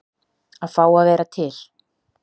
Að fá að vera til.